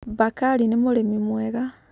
Bakari nĩ mũrĩmi mwega.